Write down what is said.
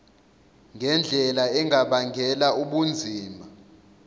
ngendlela engabangela ubunzima